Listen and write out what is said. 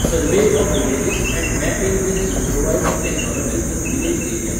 survey of villages and mapping with improvised technology in village areas